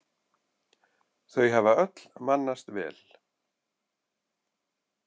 Þau hafa öll mannast vel.